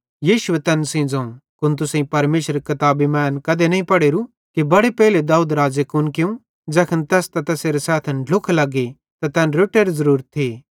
यीशुए तैन सेइं ज़ोवं कुन तुसेईं परमेशरेरी किताबी मां एन कधी नईं पढ़ोरूए कि बड़े पेइले दाऊद राज़े कुन कियूं ज़ैखन तैस त तैसेरे सैथन ढ्लुख लग्गी त तैनन् रोट्टरी ज़रूरत थी